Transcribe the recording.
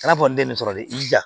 I n'a fɔ ne den nin sɔrɔ de i ja